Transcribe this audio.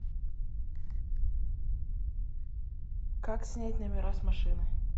как снять номера с машины